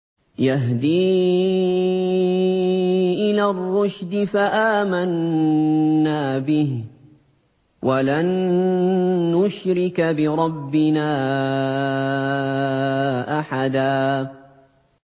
يَهْدِي إِلَى الرُّشْدِ فَآمَنَّا بِهِ ۖ وَلَن نُّشْرِكَ بِرَبِّنَا أَحَدًا